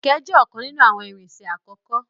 Kẹkẹ jẹ ọkan ninu awọn irinṣẹ akọkọ.